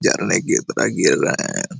झरने की तरह गिर रहा है।